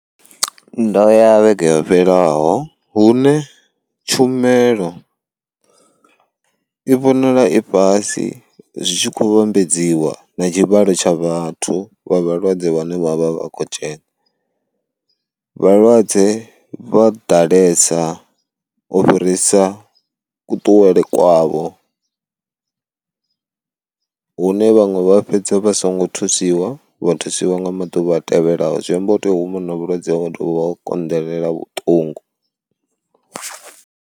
Ndo ya vhege yo fhelelaho hune tshumelo i vhonala i fhasi zwi tshi kho vhambedziwa na tshivhalo tsha vhathu vha vhalwadze vhane vhavha vha kho dzhena. Vhalwadze vha ḓalesa u fhirisa ku ṱuwele kwavho hune vhaṅwe vha fhedza vha songo thusiwa vha thusiwa nga maḓuvha a tevhelaho zwi amba u tea huma u na vhulwadze wa dovha wa konḓelela vhuṱungu.